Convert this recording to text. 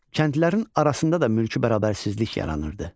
Kəndlilərin arasında da mülki bərabərsizlik yaranırdı.